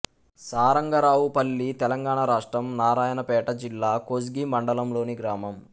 సారంగరావుపల్లి తెలంగాణ రాష్ట్రం నారాయణపేట జిల్లా కోస్గి మండలంలోని గ్రామం